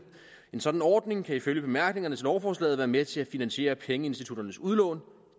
en sådan ordning kan ifølge bemærkningerne til lovforslaget være med til at finansiere pengeinstitutternes udlån